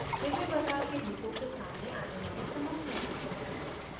hiware bazar के लोगों के सामने आने वाली समस्याएं